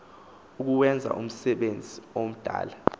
ukuwenza umsebenzi womdala